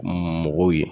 Mɔgɔw ye